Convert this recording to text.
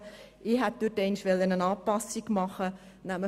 Ich hätte hier eine Anpassung vornehmen wollen.